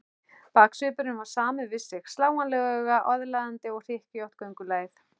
Baksvipurinn var samur við sig, slánalega aðlaðandi, og hlykkjótt göngulagið.